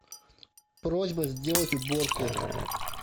просьба сделать уборку